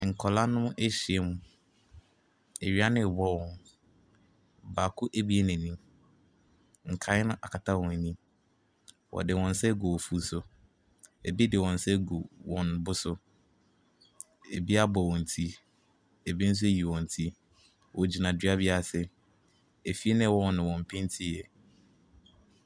Nkwadaa no ahyiam. Awia no rebɔ wɔn. Baako abue n'ani. Nkaeɛ no akata wɔn ani. Wɔde wɔn nsa agu wɔn afu so. Ebi de wɔn nsa agu wɔn bo so. Ebi abɔ wɔn ti. Ebi nso ayi wɔn ti. Wogyina dua bi ase. Efie a ɛwɔ hɔ no, wɔmpentiiɛ.